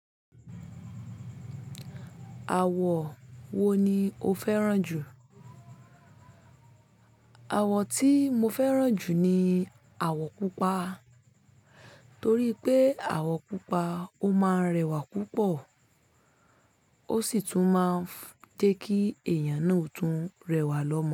Àwọ̀ wo ni o fẹ́ràn jù? Àwọ̀ tí mo fẹ́ràn jù ni àwọ̀ pupa. Torí pé àwọ̀ pupa ó máa ń rẹwà púpọ̀ ó sì tún máa ń jẹ́ kí èèyàn náà ó tún rẹwà lọ́mọ.